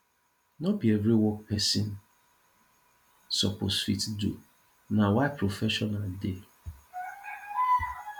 no bi every work wey pesin soppose fit do na why professional dey